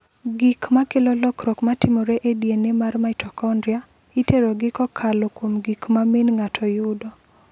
Gik ma kelo lokruok ma timore e DNA mar mitokondria, iterogi kokalo kuom gik ma min ng’ato yudo.